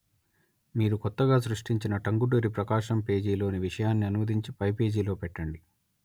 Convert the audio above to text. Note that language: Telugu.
మీరు కొత్తగా సృష్టించిన టంగుటూరి ప్రకాశం పేజీ లోని విషయాన్ని అనువదించి పై పేజీలో పెట్టండి